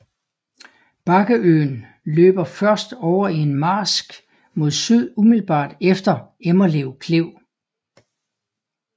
Bakkeøen løber først over i marsk mod syd umiddelbart efter Emmerlev Klev